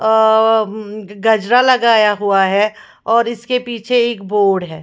औ उँ उ गजरा लगाया हुआ है और इसके पीछे एक बोर्ड है।